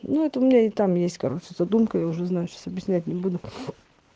ну это у меня нет там есть короче задумка я уже знаю сейчас объяснять не буду